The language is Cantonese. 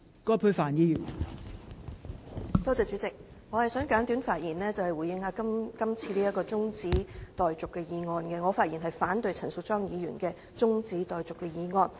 代理主席，我想簡短發言回應這項中止待續議案，我反對陳淑莊議員的中止待續議案。